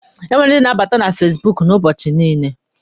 E nwere ndi na-abata na fasibuuku ụbọchị niile.